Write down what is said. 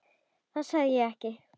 Það sagði ég ekki